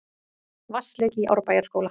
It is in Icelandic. Vatnsleki í Árbæjarskóla